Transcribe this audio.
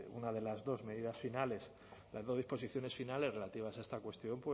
una de las dos medidas finales las dos disposiciones finales relativas a esta cuestión